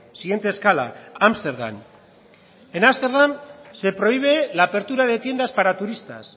siguiente escala ámsterdam en ámsterdam se prohíbe la apertura de tiendas para turistas